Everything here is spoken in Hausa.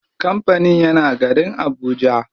Kampanin yana garin habuja.